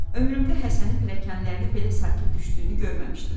Ömrümdə Həsənin pilləkənlərini belə sakit düşdüyünü görməmişdim."